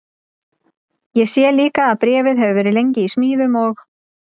Ég sé líka að bréfið hefur verið lengi í smíðum og